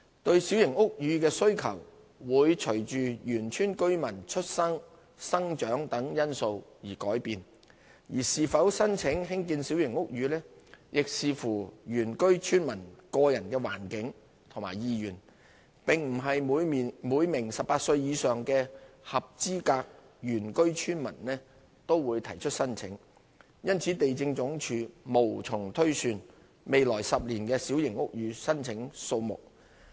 對小型屋宇的需求會隨原居村民出生、成長等因素而改變，而是否申請興建小型屋宇亦視乎原居村民的個人環境和意願，並不是每名18歲以上的合資格原居村民都會提出申請，因此地政總署無從推算未來10年的小型屋宇申請數目。